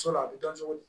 a bɛ dɔn cogo di